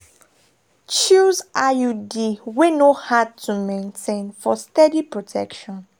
choose iud wey no hard to maintain for steady protection.